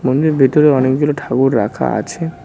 মন্দিরের ভেতরে অনেকগুলো ঠাকুর রাখা আছে।